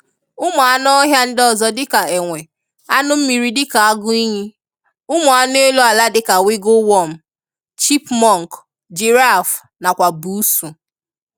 Ụmụ anụ ọhịa ndị ọzọ dịka ènwè, anụ mmiri dika agụiyi, ụmụ anụ elu ala dika wiggle wọmu, chipmunk, giraffu na kwa busuu.